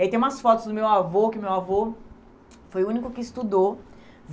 E aí tem umas fotos do meu avô, que meu avô foi o único que estudou.